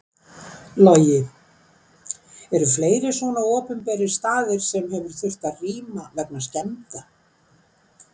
Logi: Eru fleiri svona opinberir staðir sem hefur þurft að rýma vegna skemmda?